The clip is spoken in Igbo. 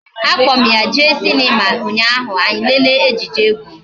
A kpo m ya jee Sinima unyaahu anyi elele ejije egwu